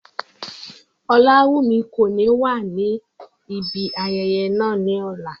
Olawumi ko ni wa ni ibi ayẹyẹ naa ni ọla.